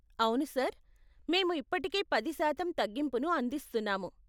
అవును సార్, మేము ఇప్పటికే పది శాతం తగ్గింపును అందిస్తున్నాము.